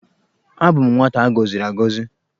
Abụ m nwata agọziri agọzi.